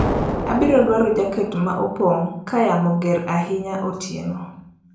Abiro dwaro jaket ma opong' ka yamo mager ahinya otieno